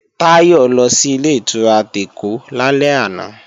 Táyọ̀ lọ sí Ilé-ìtura tèkó lálẹ́ àná